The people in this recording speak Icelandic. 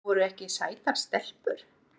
Voru ekki sætar stelpur?